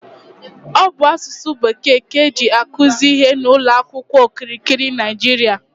Ọ bụ asụsụ bekee ka eji akuzi ihe n'ụlọ akwụkwọ n'okirikiri Naịjiria